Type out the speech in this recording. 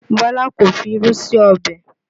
Bọ́lá kò fi irú sí ọbẹ̀